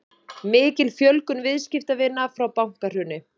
Mikil fjölgun viðskiptavina frá bankahruni